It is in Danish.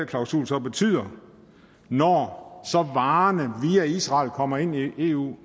klausul så betyder når så varerne via israel kommer ind i eu